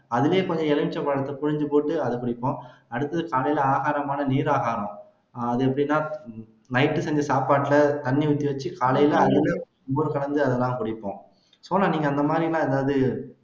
அதுலயே கொஞ்சம் எலுமிச்சம் பழத்தை பிழிஞ்சுபோட்டு அதை குடிப்போம் அடுத்தது காலைல ஆகாரமாக நீராகாரம் அது எப்படின்னா night செஞ்ச சாப்பாட்டுல தண்ணி ஊத்தி வச்சு காலைல அதுல மோர் கலந்து அதைதான் குடிப்போம் சோனா நீங்க அந்த மாதிரி எல்லாம் ஏதாவது